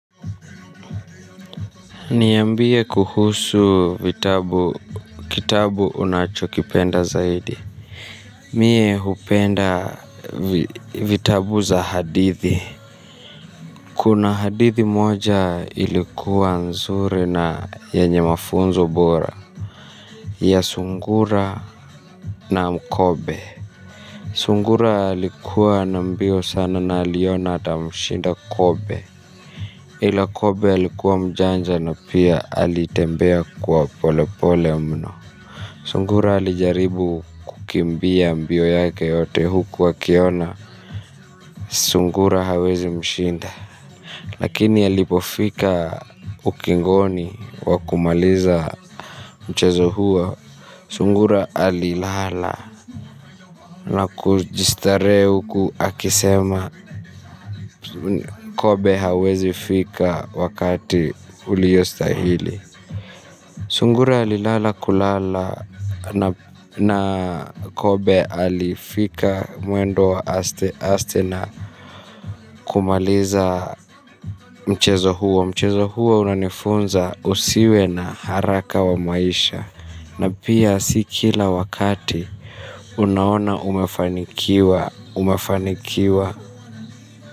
Niambie kuhusu vitabu kitabu unachokipenda zaidi. Mie hupenda vitabu za hadithi. Kuna hadithi moja ilikuwa nzuri na yenye mafunzo bora. Ya sungura na mkobe sungura alikuwa na mbio sana na aliona atamshinda kobe. Ila kobe alikuwa mjanja na pia alitembea kuwa polepole mno sungura alijaribu kukimbia mbio yake yote uku akiona sungura hawezi mshinda. Lakini alipofika ukingoni wa kumaliza mchezo huo sungura alilala na kujistarehe uku akisema Kobe hawezi fika wakati uliostahili. Sungura alilala kulala na kobe alifika mwendo wa asteaste na kumaliza mchezo huo. Mchezo huo unanifunza usiwe na haraka wa maisha. Na pia si kila wakati unaona umefanikiwa umefanikiwa.